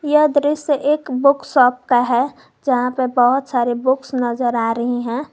यह दृश्य एक बुक शॉप का है जहां पर बहुत सारे बुक्स नजर आ रही हैं।